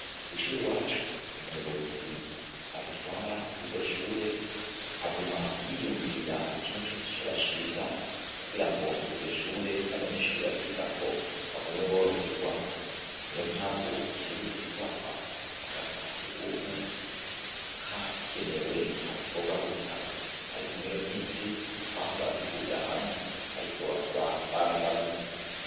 Kw'ishuri wacu umuyobozi adutwara w iryo shure aguma yiyumvira ikintu cose co bashiza kugira ngo ivyo shure n'abanyeshuri baryigako bagumwe boroherwa ni yo mpamvu haherutse kubakwa akazi kwa si ugumwe kagenewe abakobwa gusa, ariko mwiyo misi twahoraduhurira hamwe, ariko ubo bakaba babigabuye.